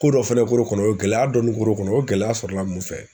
Ko dɔ fɛnɛ kuru kɔnɔ o ye gɛlɛya dɔɔni kura kɔnɔ o gɛlɛya sɔrɔla mun fɛ